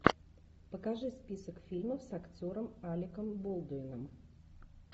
покажи список фильмов с актером алеком болдуином